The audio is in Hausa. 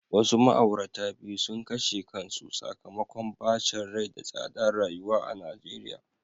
Wasu ma'aurata biyu sun kashe kansu sakamakon bacin rai da tsadar rayuwa a Najeriya.